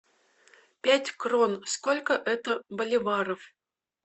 пять крон сколько это боливаров